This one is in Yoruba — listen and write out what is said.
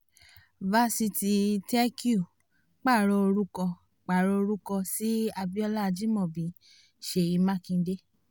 fásitì tech-u pààrọ̀ orúkọ pààrọ̀ orúkọ sí abiola ajimobi ṣèyí makinde